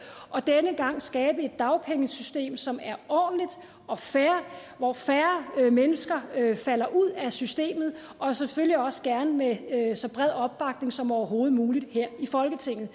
og denne gang skabe et dagpengesystem som er ordentligt og fair hvor færre mennesker falder ud af systemet og selvfølgelig også gerne med så bred opbakning som overhovedet muligt her i folketinget